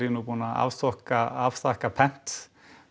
nú búinn að afþakka afþakka pent